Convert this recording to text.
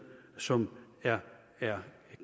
som er er